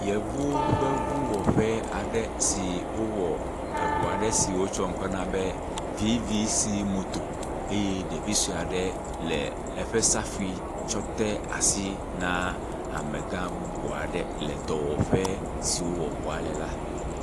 …vuwo ƒe vuwɔƒe aɖe si wowɔ eŋua ɖe si wotsɔ ŋkɔ na be vivisimoto eye ɖevi sue aɖe le eƒe safui tsɔ de asi na amega bubu aɖe le dɔwɔƒe si wowɔ ŋua le la.